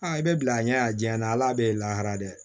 Aa i bɛ bila a ɲɛ a diyaɲɛ na ala bɛ lahara dɛ